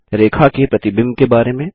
रेखा के प्रतिबिंब के बारे में